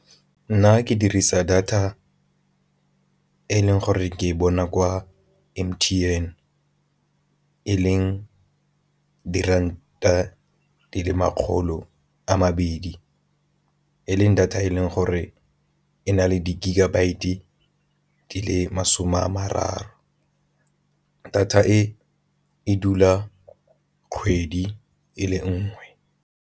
Nna ke dirisa data e leng gore ke e bona kwa M_T_N e leng diranta di le makgolo a mabedi e leng data e leng gore e na le di-gigabyte di le masome a mararo, data e e dula kgwedi e le nngwe.